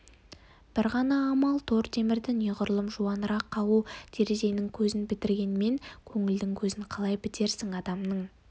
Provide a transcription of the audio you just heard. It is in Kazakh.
бір ғана амал тор темірді неғұрлым жуанырақ қағу терезенің көзін бітегенмен көңілдің көзін қалай бітерсің адамның